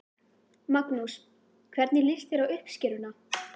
Magnús: Hvernig líst þér á uppskeruna?